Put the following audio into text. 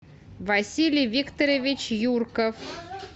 василий викторович юрков